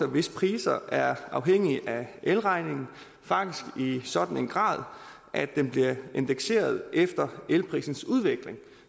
hvis priser er afhængige af elregningen faktisk i sådan en grad at den bliver indekseret efter elprisens udvikling